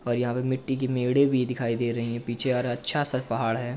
और यहाँ पे मिट्टी की मेडे भी दिखाई दे रही है। पीछे यार अच्छा सा पहाड़ है।